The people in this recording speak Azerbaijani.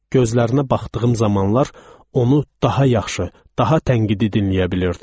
Gözlərinə baxdığım zamanlar onu daha yaxşı, daha tənqidi dinləyə bilirdim.